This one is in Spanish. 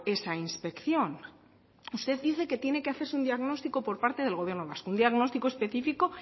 esa inspección usted dice que tiene que hacerse un diagnóstico por parte del gobierno vasco un diagnóstico específico